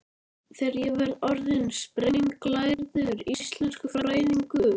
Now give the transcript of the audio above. Þegar ég verð orðin sprenglærður íslenskufræðingur.